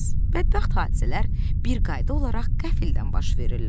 Bədbəxt hadisələr bir qayda olaraq qəfildən baş verirlər.